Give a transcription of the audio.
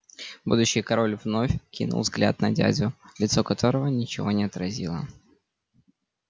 будущий король вновь кинул взгляд на дядю лицо которого ничего не отразило